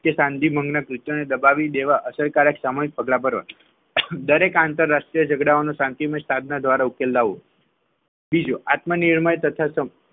તે શાંતિ ભંગ પૂત દબાવી દેવા અસરકારક સમયે પગલાં ભરવા દરેક આંતરરાષ્ટ્રીય ઝઘડાનો શાંતિમય સાધના દ્વારા ઉકેલ લાવો બીજો આત્મા નિર્ણય તથા